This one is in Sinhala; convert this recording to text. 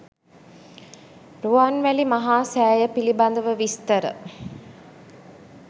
රුවන්වැලි මහා සෑය පිළිබඳව විස්තර